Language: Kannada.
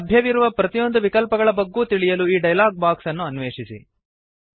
ಲಭ್ಯವಿರುವ ಪ್ರತಿಯೊಂದು ವಿಕಲ್ಪಗಳ ಬಗ್ಗೂ ತಿಳಿಯಲು ಈ ಡಯಲಾಗ್ ಬಾಕ್ಸ್ ಅನ್ನು ಅನ್ವೇಷಿಸಿ